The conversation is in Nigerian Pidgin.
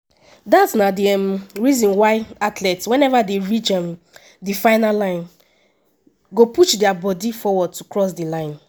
dat na di um reason why athletes whenever dey reach um di finish line go push dia body forward to cross di line.